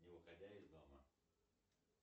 не выходя из дома